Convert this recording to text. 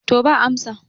to ba amsa